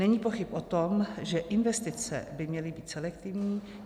Není pochyb o tom, že investice by měly být selektivní.